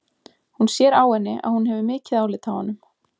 Hún sér á henni að hún hefur mikið álit á honum.